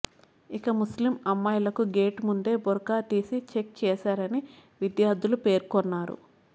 ఇక ముస్లిం అమ్మాయిలకు గేటు ముందే బురఖా తీసి చెక్ చేశారని విద్యార్థులు పేర్కొన్నారు